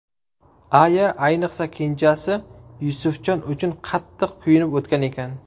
Aya ayniqsa kenjasi Yusufjon uchun qattiq kuyunib o‘tgan ekan.